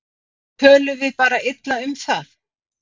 Tölum við bara illa um það?